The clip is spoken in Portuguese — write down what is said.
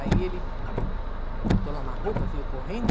Aí ele botou lá uma roupa, veio correndo...